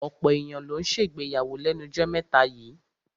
Ọ̀pọ̀ èyàn ló ń ṣègbéyàwó lẹ́nu jọ́ mẹ́ta yíì.